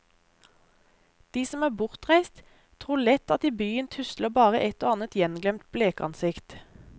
De som er bortreist, tror lett at i byen tusler bare et og annet gjenglemt blekansikt.